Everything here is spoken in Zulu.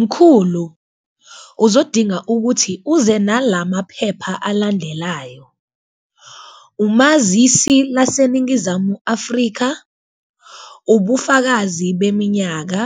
Mkhulu, uzodinga ukuthi uze nalamaphepha alandelayo umazisi laseNingizamu Afrika, ubufakazi beminyaka,